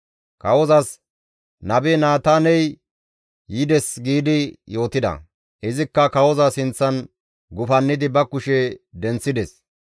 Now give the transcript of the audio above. Kawozas, «Nabe Naataaney yides» giidi yootida; izikka kawoza sinththan gufannidi ba kushe denththides.